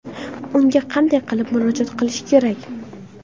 Unga qanday qilib murojaat qilish kerak?